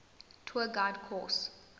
tour guide course